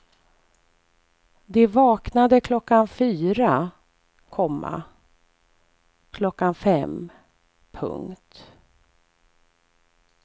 De vaknade klockan fyra, komma klockan fem. punkt